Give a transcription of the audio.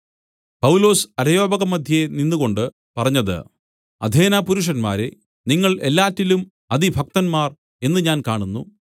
പൗലൊസ് അരയോപഗമദ്ധ്യേ നിന്നുകൊണ്ട് പറഞ്ഞത് അഥേനപുരുഷന്മാരേ നിങ്ങൾ എല്ലാറ്റിലും അതിഭക്തന്മാർ എന്ന് ഞാൻ കാണുന്നു